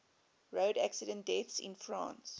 road accident deaths in france